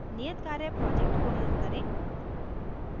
नियतकार्य project को run करें